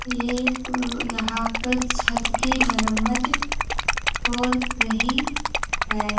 ये क यहां पर छत की मरम्मत हो रही है।